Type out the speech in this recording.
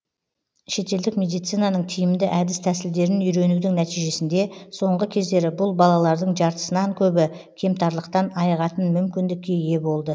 шетелдік медицинаның тиімді әдіс тәсілдерін үйренудің нәтижесінде соңғы кездері бұл балалардың жартысынан көбі кемтарлықтан айығатын мүмкіндікке ие болды